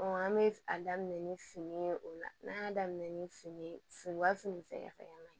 an bɛ a daminɛ ni fini ye o la n'an y' daminɛ ni fini ye fin u ka fini fɛn ma ɲi